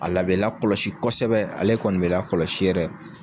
A la bɛ lakɔlɔsi kosɛbɛ ale kɔni bɛ lakɔlɔsi yɛrɛ.